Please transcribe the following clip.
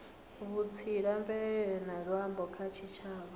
vhutsila mvelele na luambo kha tshitshavha